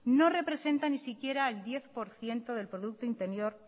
no representa ni siquiera el diez por ciento del producto interior